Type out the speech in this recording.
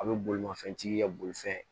A bɛ bolimafɛntigi kɛ bolifɛn